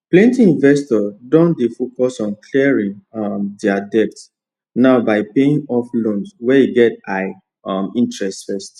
plenty investors don dey focus on clearing um their debt now by paying off loans wey get high um interest first